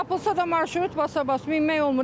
Doğurdan tapılsa da marşrut basabas, minmək olmur.